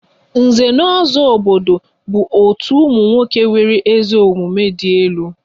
Nze na ozo aha obodo bụ otu ụmụ nwoke nwere ezi omumue di elu